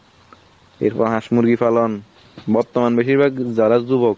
এর পর হাঁস মুরগি পালন, বর্তমান বেশির ভাগ যারা যুবক